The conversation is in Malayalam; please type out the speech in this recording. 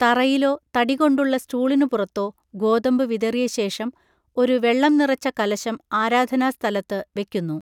തറയിലോ തടികൊണ്ടുള്ള സ്റ്റൂളിനുപുറത്തോ ഗോതമ്പ് വിതറിയ ശേഷം, ഒരു വെള്ളം നിറച്ച കലശം ആരാധനാസ്‌ഥലത്ത് വെക്കുന്നു.